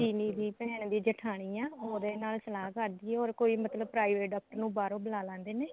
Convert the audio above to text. ਇਮਲੀ ਦੀ ਭੈਣ ਦੀ ਜੇਠਾਣੀ ਐ ਉਹਦੇ ਨਾਲ ਸਲਾਹ ਕਰਦੀ ਐ or ਕੋਈ ਮਤਲਬ private ਡਾਕਟਰ ਨੂੰ ਬਾਹਰੋ ਬੂਲਾ ਲੈਂਦੇ ਨੇ